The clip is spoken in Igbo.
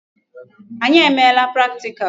Anyị emeela practical.